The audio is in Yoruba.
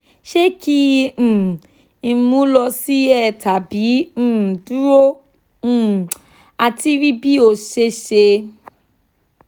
se ki um n mu lo si er tabi um duro um ati ri bi ose se?